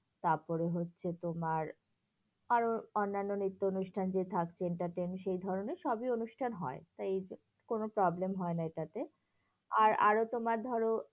তারপরে হচ্ছে তোমার, আরো অন্যান্য নৃত্য অনুষ্ঠান যে থাকছে entertain সেধরণের সবই অনুষ্ঠান হয়, তাই কোনো problem হয় না এটাতে, আর আরো তোমার ধরো